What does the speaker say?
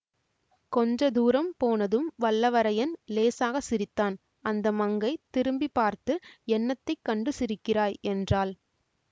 கொஞ்ச தூரம் போனதும் வல்லவரையன் இலேசாக சிரித்தான் அந்த மங்கை திரும்பி பார்த்து என்னத்தை கண்டு சிரிக்கிறாய் என்றாள்